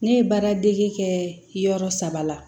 Ne ye baara dege kɛ yɔrɔ saba la